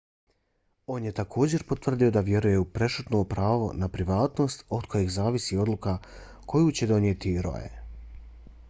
on je također potvrdio da vjeruje u prešutno pravo na privatnost od kojeg zavisi odluka koju će donijeti roe